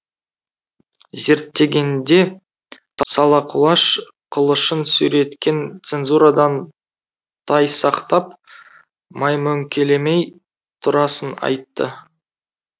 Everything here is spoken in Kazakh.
зерттегенде сала құлаш қылышын сүйреткен цензурадан тайсақтап маймөңкелемей турасын айтты